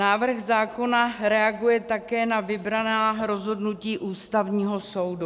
Návrh zákona reaguje také na vybraná rozhodnutí Ústavního soudu.